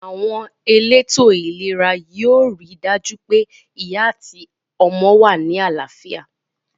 Àwon elétò ìlera yio ri dàjú pe ìyá àti ọmọ wa ni àláfíà